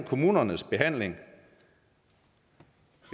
kommunernes behandling